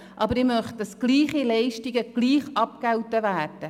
Aber ich möchte, dass gleiche Leistungen gleich abgegolten werden.